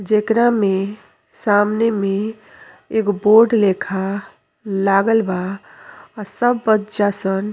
जेकरा में सामने में एगो बोर्ड लेखा लागल बा। आ सब बच्चा सन --